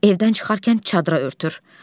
Evdən çıxarkən çadıra örtür.